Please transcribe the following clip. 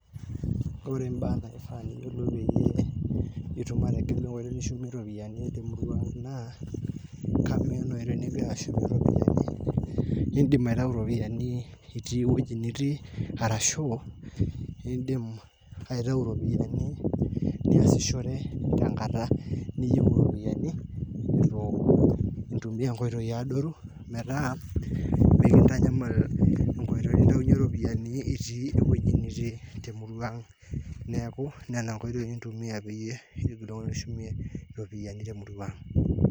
Ore imbaa naifaa niyiolou peyie itum ategelu enkitoi nishumie iropiyiani te emurua aang', naa kamaa ena oitoi nigira ashumie iropiyianin naa iindim aitayu iropiyiani itii ewueji nitii arashu iindim aitayu iropiyiani niasishore tenkata niyieu iropiyiani itu intumia inkoitoi adoru metaa mekintanyamal enkoitoi nintayunyie iropiyiani itii ewueji nitii te emurua aang', neeku nena oitoi kintumia peyie kishum iropiyiani te emurrua aang'.